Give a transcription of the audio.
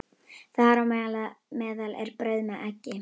Þar á meðal er brauð með eggi.